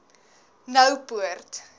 noupoort